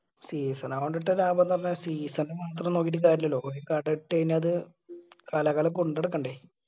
season ആവോണ്ടിട്ട ലാഭംന്ന് പറഞ്ഞാൽ season മാത്രം നോക്കിയിട്ട് കാര്യുല്ലല്ലോ ഒരു കട ഇട്ട് കയ്‌ന അത് കാലാകാലം കൊണ്ട് നടക്കണ്ടേ.